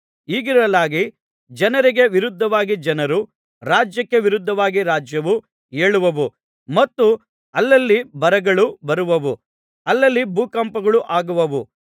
ಹೀಗಿರಲಾಗಿ ಜನರಿಗೆ ವಿರುದ್ಧವಾಗಿ ಜನರು ರಾಜ್ಯಕ್ಕೆ ವಿರುದ್ಧವಾಗಿ ರಾಜ್ಯವೂ ಏಳುವವು ಮತ್ತು ಅಲ್ಲಲ್ಲಿ ಬರಗಳು ಬರುವವು ಅಲ್ಲಲ್ಲಿ ಭೂಕಂಪಗಳು ಆಗುವವು